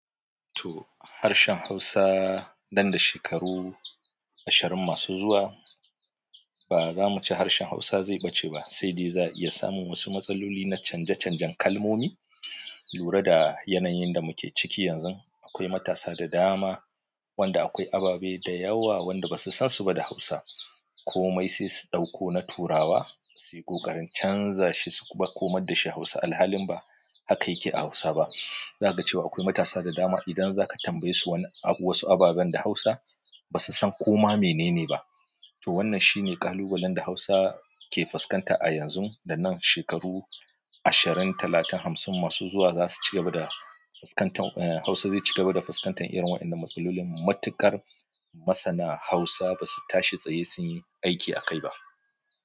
To harshen Hausa, nan da shekaru ashirin masu zuwa ba za mu ce harshen Hausa zai ɓace ba, sai dai za a iya samun wasu matsaloli na canje-canjen kalmomi. Lura da yanayin da muke ciki yanzu, akwai matasa da dama wanda akwai ababe da yawa wanda ba su san su ba da Hausa. Komai sai su ɗauko na turawa suyi ƙoƙarin canza shi su kuma komar dashi hausa alhalin ba haka yake a hausa ba zakace wa akwai matasa da dama idan za ka tambaye su wani wasu ababen da Hausa ba su san koma mene ne ba. To wannan shine ƙalubalen da Hausa ke fuskanta a yanzu da nan shekaru ashirin, talatin, hamsin masu zuwa za su ci gaba da fuskantar, eh Hausa zai ci gaba da fuskantar irin waƴannan matsalolin. Matuƙar masana Hausa ba su tashi tsaye sun yi aiki a kai ba.